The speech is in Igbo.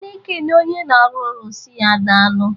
A na-ekene onye na-arụ ọrụ sị ya,"Daalụ!"